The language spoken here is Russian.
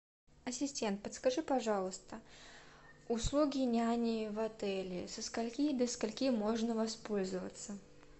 ассистент подскажи пожалуйста услуги няни в отеле со скольки до скольки можно воспользоваться